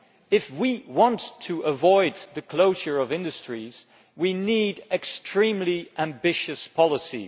If we want to avoid the closure of industries, we need extremely ambitious policy.